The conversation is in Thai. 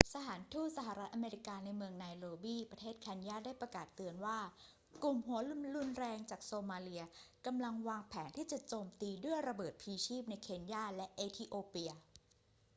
สถานทูตสหรัฐอเมริกาในเมืองไนโรบี ประเทศเคนยา ได้ประกาศเตือนว่า กลุ่มหัวรุนแรงจากโซมาเลีย กำลังวางแผนที่จะโจมตีด้วยระเบิดพลีชีพในเคนยาและเอธิโอเปีย